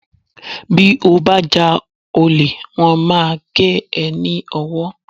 Bí o bá já ole, wón máa gé e ní ọwọ́